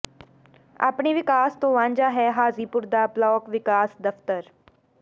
ਆਪਣੇ ਵਿਕਾਸ ਤੋਂ ਵਾਂਝਾ ਹੈ ਹਾਜੀਪੁਰ ਦਾ ਬਲਾਕ ਵਿਕਾਸ ਦਫ਼ਤਰ